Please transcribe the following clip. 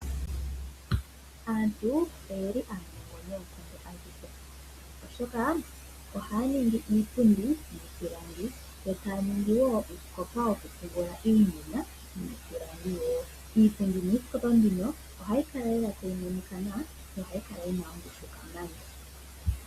Aantu oyeli aanongo noonkondo adhihe oshoka ohaya ningi iipundi yiipilangi yo taya ningiwo uusikopa wokupungula iinima wiipilangi wo iipundi nuusikopa mbuno ohayi kala lela tayi monika nawa nohayi kala yina ongushu kamana.